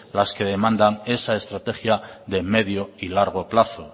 las que demandan esa estrategia de medio y largo plazo